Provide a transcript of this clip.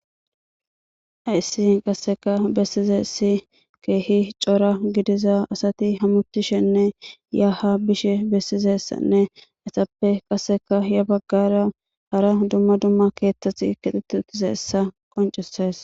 haysi qasseka bessize si keehi cora gidiza asati hamutishenne yaha bishe bessizessanne esappe qasseka ya baggara hara dumma dumma keeththasi kixeti uttize essa qoncises